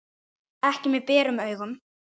Ekki með berum augum.